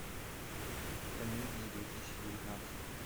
комедии две тысячи девятнадцать